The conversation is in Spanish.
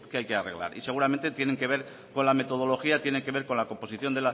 hay que arreglar y seguramente tienen que ver con la metodología tienen que con la composición